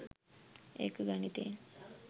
ඒක ගණිතයෙන්